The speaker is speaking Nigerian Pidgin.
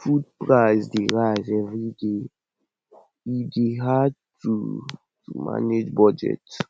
food prices dey rise every day e dey hard to to manage budget